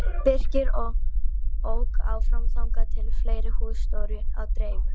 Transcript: Birkir ók áfram þangað sem fleiri hús stóðu á dreif.